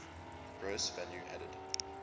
gross value added